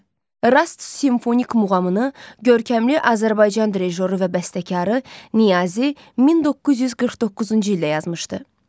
Rast simfonik muğamını görkəmli Azərbaycan drijoru və bəstəkarı Niyazi 1949-cu ildə yazmışdı.